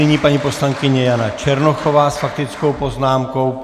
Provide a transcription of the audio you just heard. Nyní paní poslankyně Jana Černochová s faktickou poznámkou.